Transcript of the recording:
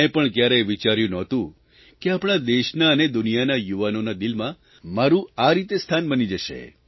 મેં પણ કયારેય વિચાર્યું નહોતું કે આપણા દેશના અને દુનિયાના યુવાનોના દિલોમાં મારૂં આ રીતે સ્થાન બની જશે